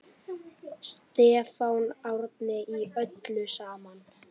Stefán Árni: Í öllu saman?